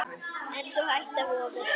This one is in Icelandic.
En sú hætta vofir yfir.